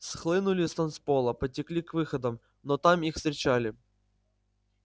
схлынули с танцпола потекли к выходам но там их встречали